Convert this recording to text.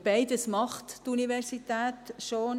Die Universität macht beides schon;